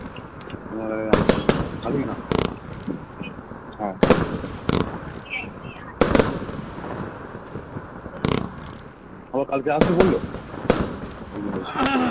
ও কালকে আসবে বললো